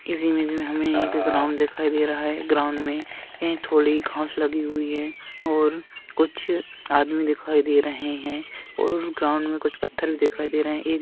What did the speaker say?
इस इमेज में हमें एक ग्राउंड दिखाई दे रहा है ग्राउंड में कही थोड़ी घास लगी हुई है और कुछ आदमी दिखाई दे रहे हैं और ग्राउंड में कुछ पत्थर दिखाई दे रहे हैं। एक--